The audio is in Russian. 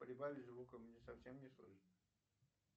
прибавь звука мне совсем не слышно